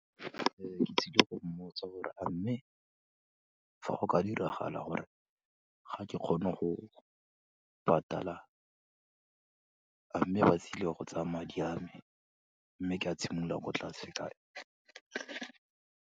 Ke tsile go mmotsa gore, a mme fa go ka diragala gore ga ke kgone go patala, a mme ba tlile go tsaya madi a me, mme ka simolola ko tlase.